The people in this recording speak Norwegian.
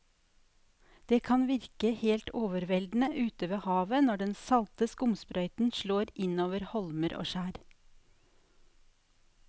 Det kan virke helt overveldende ute ved havet når den salte skumsprøyten slår innover holmer og skjær.